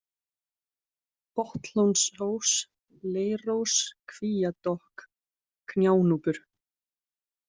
Botnlónsós, Leirós, Kvíadokk, Gjánúpur